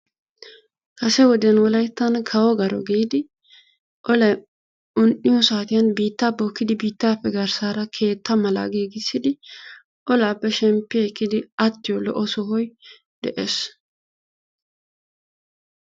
kase wode wolayttan kawo garo giidi olay un'iyosaatiyan olaappe shempi ekkidi attiyo sohoy de'ees.